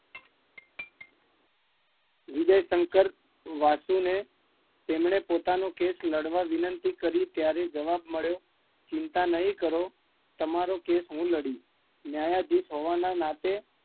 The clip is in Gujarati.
વિજયશંકર વાસુદેવ ને તેમને પોતાનો કેસ લાડવા વિંનતી કરી કે ત્યારે જવાબ મળ્યો તમે ચિંતા ના કરો, તમારો કેસ હું લડીશ ન્યાયધીશ હોવાના નાતે